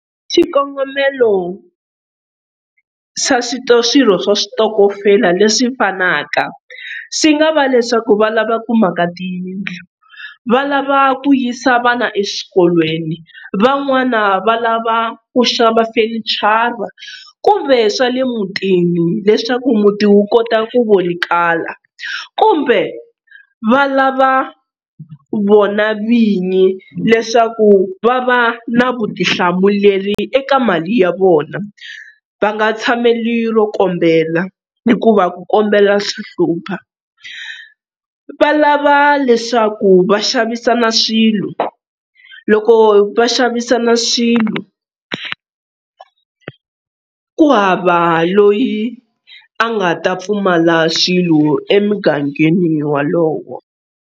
Xikongomelo xa swirho swa switokofela leswi fanaka swi nga va leswaku va lava ku maka tiyindlu, va lava ku yisa vana eswikolweni van'wana va lava ku xava fenichara kumbe swa le mutini leswaku muti wu kota ku vonakala kumbe va lava vona vinyi leswaku va va na vutihlamuleri eka mali ya vona va nga tshameli ro kombela hikuva ku kombela swa hlupha, va lava leswaku va xavisana swilo loko va xavisana swilo ku hava loyi a nga ta pfumala swilo emugangeni wolowo.